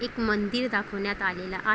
एक मंदिर दाखवण्यात आलेलं आहे.